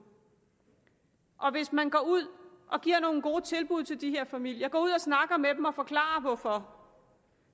hvis man går ud og giver nogle gode tilbud til de her familier og ud og snakker med dem og forklarer hvorfor